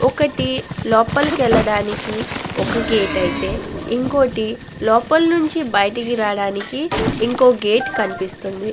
ఒకటి లోపలి వేలడానికి ఒక గేట్ ఐతే ఇంకోటి లోపల నుంచి బయటకు రావడానికి ఇంకో గేట్ కనిపిస్తుంది.